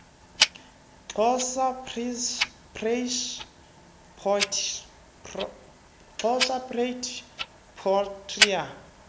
xhosa praise poetry